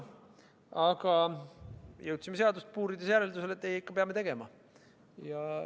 Aga jõudsime seadust puurides järeldusele, et ei, ikka peame tegema.